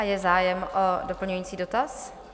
A je zájem o doplňující dotaz?